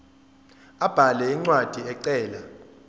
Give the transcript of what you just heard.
abhale incwadi ecela